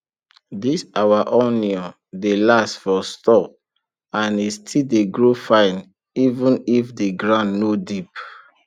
this our onion dey last for store and e still dey grow fine even if the ground no deep